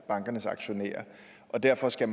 bankernes aktionærer derfor skal